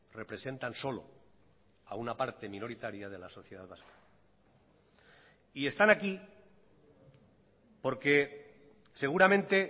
representan solo a una parte minoritaria de la sociedad vasca y están aquí porque seguramente